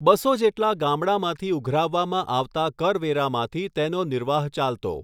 બસો જેટલા ગામડાંમાંથી ઉઘરાવવામાં આવતાં કરવેરામાંથી તેનો નિર્વાહ ચાલતો.